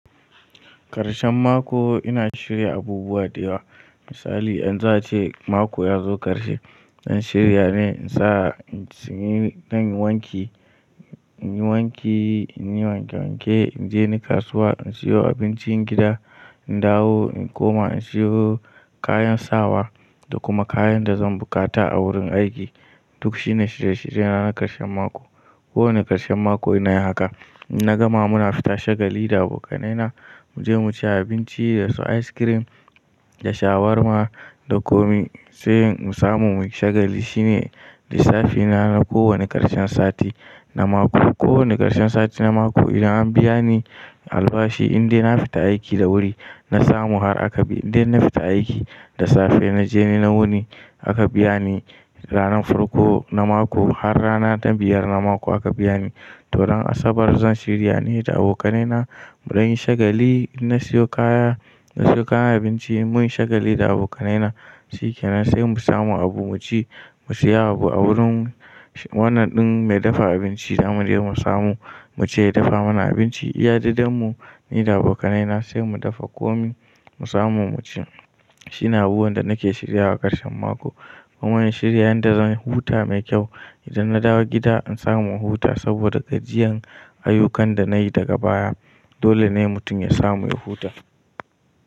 Karshen mako ina shirya abubuwa da yawa. Misali in za a ce mako ya zo karshe, in shirya ne in sa, in tsinyi, dan yi wanki, in yi wanki, in yi wanke wanke, in je ni kasuwa, in siyo abincin gida, in dawo, in koma in siyo kayan sawa da kuma kayan da zan bukata a wurin aiki. Duk shi ne shirye shirye na na karshen mako. Ko wani karshen mako ina yi haka. In na gama muna fita shagali da abokanaina mu je mu ci abinci da su ice cream da shawarma da komi. Sai mu samu mu yi shagali shine lissafina na ko wani karshen sati na mako. Ko wani karshen sati na mako idan an biya ni albashi, in dai na fita aiki da wuri na samu har aka bi-- in dai na fita aiki da safe na je ni na wuni aka biya ni ranan farko na mako har rana ta biyar na mako aka biya ni, to ran asabar zan shirya ne da abokanaina muɗan yi shagali. In na siyo kaya, na siyo kayan abinci mun shagali da abokanaina, shikenan sai mu samu abu mu ci, mu siya abu a wurin wannan ɗin mai dafa abinci zamu je mu samu, mu ce ya dafa mana abinci. Iya daidan mu ni da abokanai na sai mu dafa komi mu samu mu ci. Shi ne abubuwan da nake shirya wa a karshen mako. Kuma in shirya yanda zan huta mai kyau. Idan na dawo gida in samu in huta saboda gajiyan ayyukan da nayi daga baya. Dole ne mutum ya samu ya huta.